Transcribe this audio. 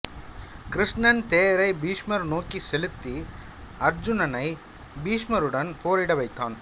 கிருஷ்ணன் தேரை பீஷ்மர் நோக்கி செலுத்தி அருச்சுனனை பீஷ்மருடன் போரிட வைத்தான்